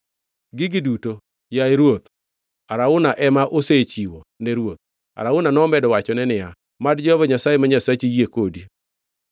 Gigi duto, yaye ruoth, Arauna ema osechiwo ne ruoth.” Arauna nomedo wachone niya, “Mad Jehova Nyasaye ma Nyasachi yie kodi.”